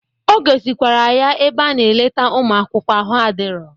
O gosikwara ya ebe a na-eleta ụmụ akwụkwọ ahụ adirọ.